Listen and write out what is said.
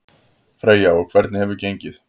Freyja: Og hvernig hefur gengið?